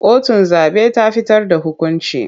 Kotun zaɓe ta fitar da hukunci.